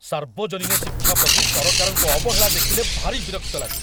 ସାର୍ବଜନୀନ ଶିକ୍ଷା ପ୍ରତି ସରକାରଙ୍କ ଅବହେଳା ଦେଖିଲେ ଭାରି ବିରକ୍ତ ଲାଗେ।